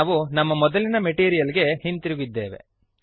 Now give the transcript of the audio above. ನಾವು ನಮ್ಮ ಮೊದಲಿನ ಮೆಟೀರಿಯಲ್ ಗೆ ಹಿಂತಿರುಗಿದ್ದೇವೆ